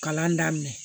Kalan daminɛ